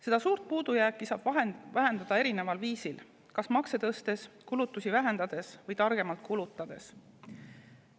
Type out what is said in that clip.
Seda suurt puudujääki saab vähendada erineval viisil: makse tõstes, kulutusi vähendades või targemalt kulutades.